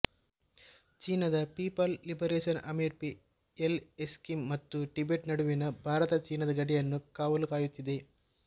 ಚೀನಾದ people liberation ಆರ್ಮಿಪಿ L ಎಸಿಕ್ಕಿಂ ಮತ್ತು Tibet ನಡುವಿನ ಭಾರತಚೀನಾದ ಗಡಿಯನ್ನು ಕಾವಲು ಕಾಯುತ್ತಿದೆ